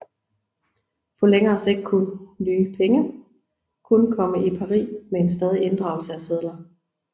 På længere sigt kunne de nye penge kun komme i pari ved en stadig inddragelse af sedler